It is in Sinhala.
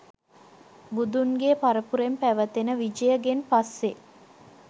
බුදුන්ගේ පරපුරෙන් පැවතෙන විජයගෙන් පස්සේ